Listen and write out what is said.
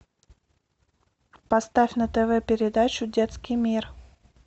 поставь на тв передачу детский мир